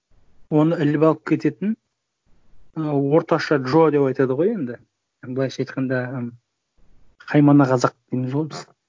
оны іліп алып кететін ы орташа джо деп айтады ғой енді былайша айтқанда і қаймана қазақ дейміз ғой біз